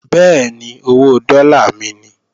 Bẹ́ẹ̀ni, owó dọ́là mi ni